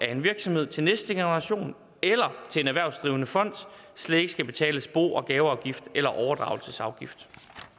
af en virksomhed til næste generation eller til en erhvervsdrivende fond slet ikke skal betales bo og gaveafgift eller overdragelsesafgift